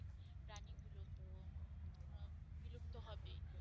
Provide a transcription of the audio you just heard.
বিলুপ্ত হবেই।